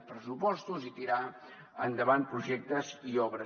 pressupostos i tirar endavant projectes i obres